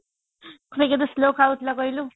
ସେ କେତେ slow କହୁଥିଲା କହିଲୁ